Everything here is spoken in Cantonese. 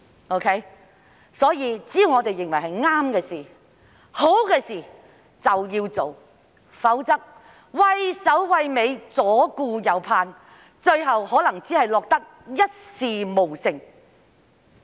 因此，只要認為是正確、好的事，當局便要做，否則，畏首畏尾，左顧右盼，最後可能只會落得一事無成。